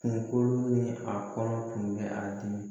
Kunkolo ni a kɔnɔ tun bɛ a dimi